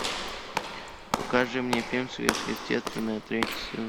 покажи мне фильм сверхъестественное третий сезон